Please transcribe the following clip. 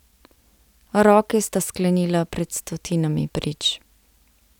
Roke sta sklenila pred stotinami prič.